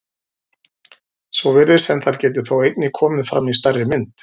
Svo virðist sem þær geti þó einnig komið fram í stærri mynd.